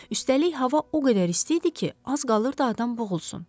Üstəlik, hava o qədər isti idi ki, az qalırdı adam boğulsun.